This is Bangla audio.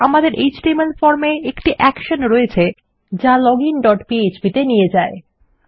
আমাদের এচটিএমএল form এ একটি অ্যাকশন রয়েছে যা লজিন ডট php এ নিয়ে যাচ্ছে